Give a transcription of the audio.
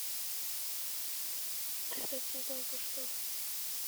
этот сезон про что